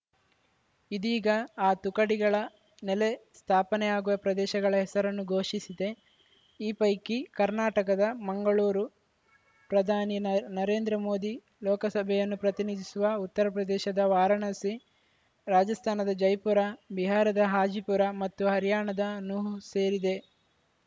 ಇದೀಗ ಆ ತುಕಡಿಗಳ ನೆಲೆ ಸ್ಥಾಪನೆಯಾಗುವ ಪ್ರದೇಶಗಳ ಹೆಸರನ್ನು ಘೋಷಿಸಿದೆ ಈ ಪೈಕಿ ಕರ್ನಾಟಕದ ಮಂಗಳೂರು ಪ್ರಧಾನಿ ನರೇಂದ್ರ ಮೋದಿ ಲೋಕಸಭೆಯನ್ನು ಪ್ರತಿನಿಧಿಸುವ ಉತ್ತರಪ್ರದೇಶದ ವಾರಾಣಸಿ ರಾಜಸ್ಥಾನದ ಜೈಪುರ ಬಿಹಾರದ ಹಾಜಿಪುರ ಮತ್ತು ಹರ್ಯಾಣದ ನುಹ್‌ ಸೇರಿದೆ